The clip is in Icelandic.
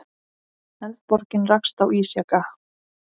Eldborgin rakst á ísjaka